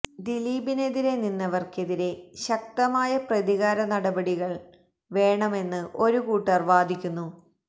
ദിലീപിനെതിരെ നിന്നവര്ക്കെതിരെ ശക്തമായ പ്രതികാര നടപടികള് വേണമെന്ന് ഒരു കൂട്ടര് വാദിക്കുന്നു